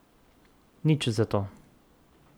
Nič zato.